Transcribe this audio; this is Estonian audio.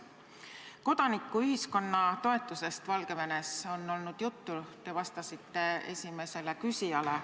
Valgevene kodanikuühiskonna toetusest on olnud juttu, te vastasite seda puudutades esimesele küsijale.